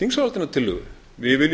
þingsályktunartillögu við viljum í raun og